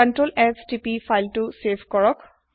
ctrls তিপক file তু save কৰিবলৈ